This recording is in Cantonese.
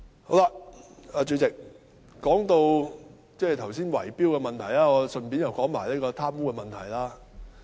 代理主席，剛才談到圍標問題，我又順道談談貪污的問題。